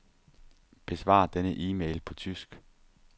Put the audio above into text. Besvar denne e-mail på tysk.